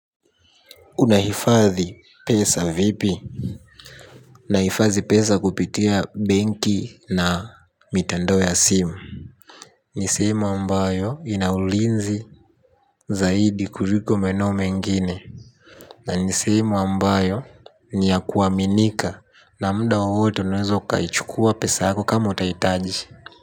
Unahifadhi pesa vipi? Naifazi pesa kupitia benki na mitandao ya simu. Ni sehemu ambayo ina ulinzi zaidi kuriko maeneo mengine. Na nisehemu ambayo ni ya kuaminika na muda wowote unaweza ukaichukua pesa yako kama utahitaji.